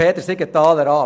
der SiK.